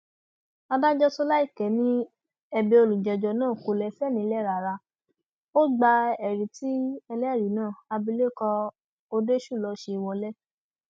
adájọ sọnàìke ni ẹbẹ olùjẹjọ náà kò lẹsẹ nílẹ rárá ó gba ẹrí tí ẹlẹrìí náà abilékọ òdeṣúlò ṣe wọlẹ